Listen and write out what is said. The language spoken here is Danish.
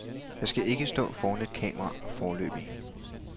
Jeg skal ikke stå foran et kamera foreløbig.